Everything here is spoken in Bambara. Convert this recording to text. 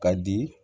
Ka di